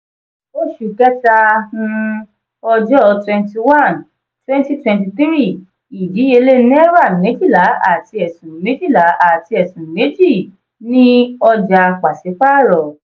oṣù kẹta um ọjọ́ twenty one twenty twenty three: ìdíyelé naira méjìlá àti ẹ̀sún méjìlá àti ẹ̀sún méjì ni oja pasipaaro.